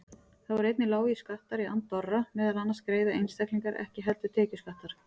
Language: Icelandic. Þá eru einnig lágir skattar í Andorra, meðal annars greiða einstaklingar ekki heldur tekjuskatt þar.